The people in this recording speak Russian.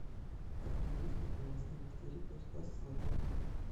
в каком году вспыхнуло восстание в твери против власти золотой орды